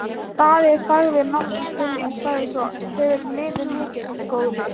Daði þagði nokkra stund en sagði svo: Hefurðu liðið mikið, góði?